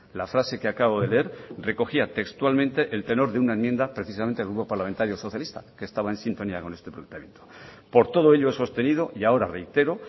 la frase que acabo de leer recogía textualmente el tenor de una enmienda precisamente del grupo parlamentario socialista que estaba en sintonía con este planteamiento por todo ello he sostenido y ahora reitero